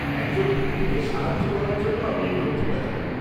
একজন বন্ধুকে সাহায্য করার জন্য আমি এই তথ্যটা চাই।